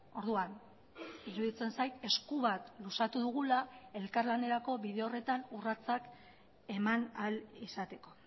orduan iruditzen zait esku bat luzatu dugula elkarlanerako bide horretan urratsak eman ahal izateko